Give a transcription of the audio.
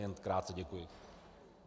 Jen krátce, děkuji.